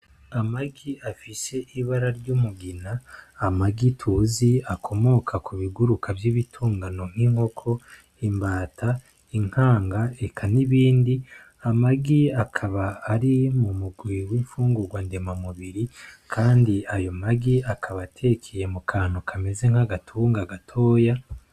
Amagi afise ibara ry'umugina, amagi tuzi akomoka ku biguruka vy'ibitungano nk'inkoko, imbata, inkanga, eka n'ibindi, amagi akaba ari mu mugwi w'imfungurwa ndemamubiri kandi ayo magi akaba atekeye mu kantu kameze nk'agatunga gatoya.